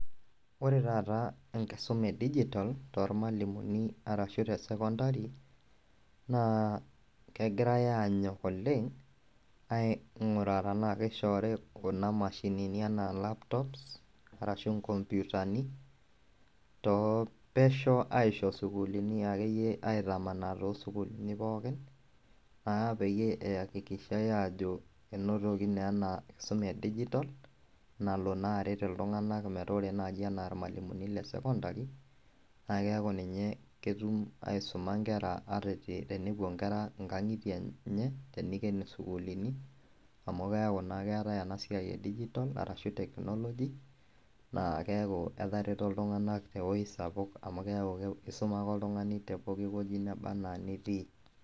Ore taata enkisuma e digital tormalimuni ashu tesekondari nakegirai anyok oleng ainguraa tanakishoori kunamashinini anaa laptops ashu nkomputani topesho aisho sukuluni akeyie aitamanaa tosukuluni pookin einotoki naa enakisuma e digital ore nai anaa irmalimulini lesekondari nakeaku ninye etumoki aisuma nkera ata tenepuo nkera nkangitie enye tenikeni sukulini amu keaku na keatae enasia e digital ashu technology neaku eteroto ltunganak tewueji sapuk amu keaku isuma ake oltungani teneba anaa tewueji ake nitii.